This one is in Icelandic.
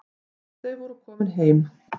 Þau voru komin heim.